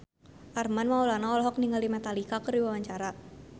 Armand Maulana olohok ningali Metallica keur diwawancara